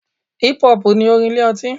Hip-hop ni orin ilé ọtí.